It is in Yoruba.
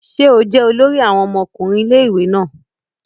Ṣe o jẹ olori àwọn ọmọkùnrin ilé-ìwé náà?